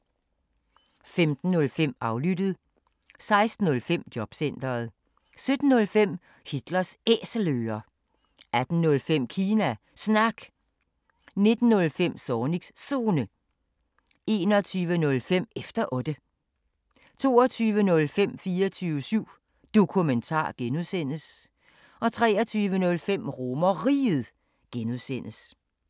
15:05: Aflyttet 16:05: Jobcentret 17:05: Hitlers Æselører 18:05: Kina Snak 19:05: Zornigs Zone 21:05: Efter Otte 22:05: 24syv Dokumentar (G) 23:05: RomerRiget (G)